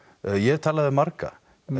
ég hef talað við marga